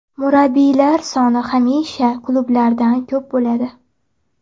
Murabbiylar soni hamisha klublardan ko‘p bo‘ladi.